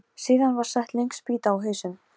Hvað hún fer fimum höndum um barnið litla.